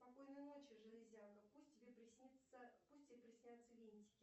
спокойной ночи железяка пусть тебе приснится пусть тебе приснятся винтики